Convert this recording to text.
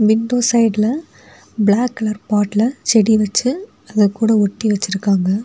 Window சைடுல black colour பாட்ல செடி வச்சு அது கூட ஒட்டி வச்சிருக்காங்க.